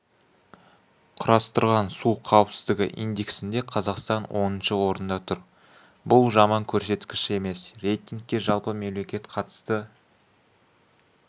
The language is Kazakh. құрастырған су қауіпсіздігі индексінде қазақстан оныншы орында тұр бұл жаман көрсеткіш емес рейтингке жалпы мемлекет қатысты